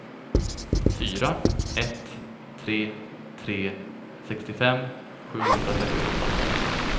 fyra ett tre tre sextiofem sjuhundratrettioåtta